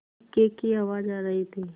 इक्के की आवाज आ रही थी